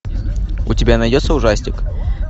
у тебя найдется ужастик